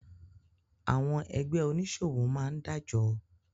Àwọn ẹgbẹ́ oníṣòwò máá ń dájọ